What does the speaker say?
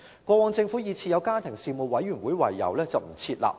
過往政府以已設有家庭事務委員會為由而不設立。